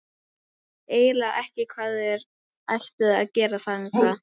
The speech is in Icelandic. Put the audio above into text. Ég veit eiginlega ekki hvað þér ættuð að gera þangað.